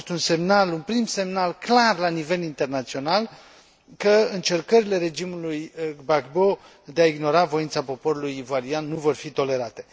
A fost un prim semnal clar la nivel internațional că încercările regimului Gbagbo de a ignora voința poporului ivorian nu vor fi tolerate.